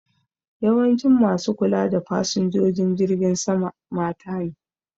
Yawancin ma su kula da fasinjojin jirgin sama mata ne